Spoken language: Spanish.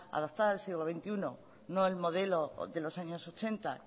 adaptada al siglo veintiuno no al modelo de los años ochenta